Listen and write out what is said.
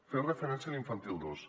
feia referència a l’infantil dos